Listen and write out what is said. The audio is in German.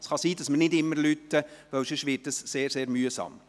Es kann sein, dass wir nicht immer läuten, denn sonst wird es sehr mühsam.